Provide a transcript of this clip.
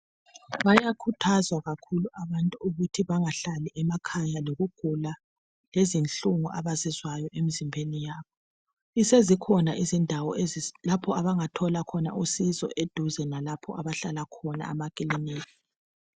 Bayakhuthazwa kakhulu abantu ukuthi bangahlali emakhaya lokugula lezinhlungu abazizwayo emzimbeni yabo. Sezikhona indawo ezi lapho abangathola khona usizo eduze lalapho abahlala khona amakilinika.